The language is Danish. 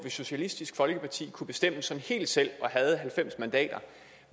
socialistisk folkeparti kunne bestemme sådan helt selv og havde halvfems mandater